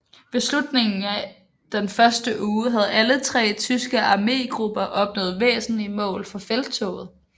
Ved slutningen af den første uge havde alle tre tyske armégrupper opnået væsentlige mål for felttoget